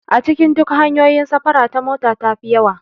A cikin duk hanyoyin safara ta mota tafi yawa